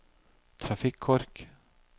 trafikkork